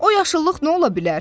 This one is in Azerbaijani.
O yaşıllıq nə ola bilər?